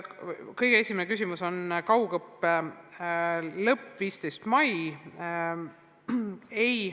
Kõige esimene küsimus oli kaugõppe lõpetamise kohta 15. mail.